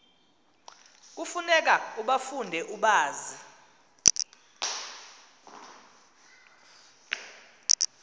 kufuneka ubafunde ubazi